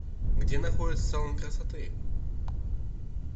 где находится салон красоты